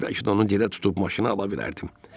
Bəlkə də onu gedib tutub maşını ala bilərdim.